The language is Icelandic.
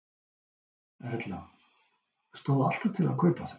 Erla: Stóð alltaf til að kaupa þau?